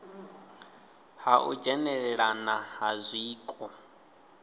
ha u dzhenelelana ha zwiko